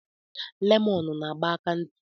Lemọnụ na agba aka ntị.